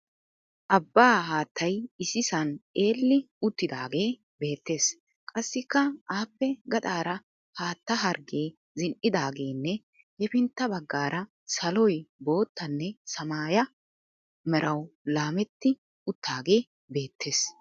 Abbaa haattay issisan eelli uttiidaagee beettes. Qassikka aappe gaxaara haatta harggee zin"idaagenne hepintta baggaara saloy boottanne samaaya merawu laametti uttaagee beettes.